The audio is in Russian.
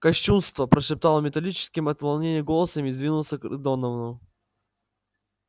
кощунство прошептал он металлическим от волнения голосом и двинулся к доновану